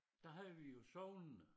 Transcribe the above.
Der havde vi jo sognene